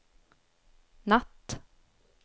natt